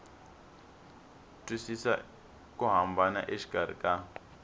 twisisa ku hambana exikarhi ka